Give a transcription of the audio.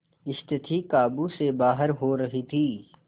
स्थिति काबू से बाहर हो रही थी